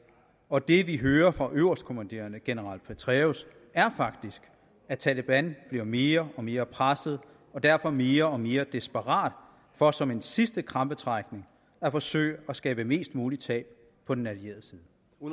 og det vi hører fra øverstkommanderende general petraeus er faktisk at taleban bliver mere og mere presset og derfor mere og mere desperat for som en sidste krampetrækning at forsøge at skabe mest mulig tab på den allierede side